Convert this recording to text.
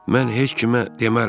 Mən heç kimə demərəm.